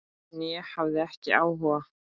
En ég hafði ekki áhuga.